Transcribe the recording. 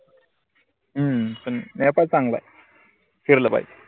हम्म पन नेपाळ चांगलाय फिरलं पाहिजे